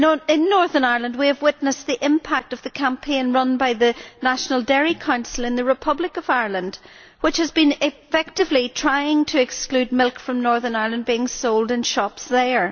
In Northern Ireland we have witnessed the impact of the campaign run by the National Dairy Council in the Republic of Ireland, which has effectively been trying to exclude milk from Northern Ireland from being sold in shops there.